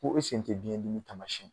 Olu sen tɛ nin tamasiɲɛnna.